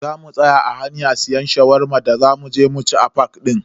Zamu tsaya a hanya siyan Shawarma da za muje mu ci a fak din.